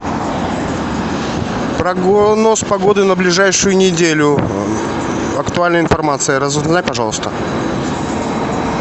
прогноз погоды на ближайшую неделю актуальная информация разузнай пожалуйста